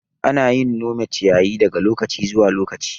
Ana yin nome ciyayi daga lokaci zuwa lokaci.